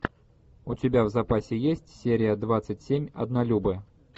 у тебя в запасе есть серия двадцать семь однолюбы